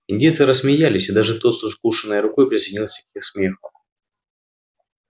индейцы рассмеялись и даже тот с укушенной рукой присоединился к их смеху